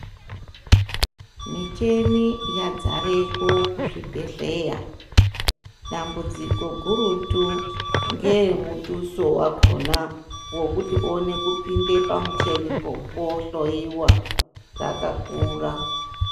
Micheni yadzareko kuzvibhedhleya, dambudziko gurutu ngeremutuso wakona wokuti uone kupinde pamuchenipo wohloiwa rakakura.